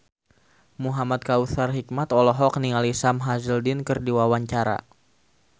Muhamad Kautsar Hikmat olohok ningali Sam Hazeldine keur diwawancara